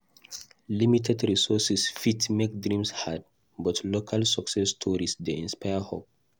Limited resources fit make dreams hard, but local success stories dey inspire hope.